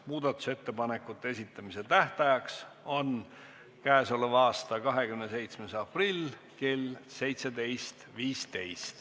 Muudatusettepanekute esitamise tähtaeg on k.a 27. aprill kell 17.15.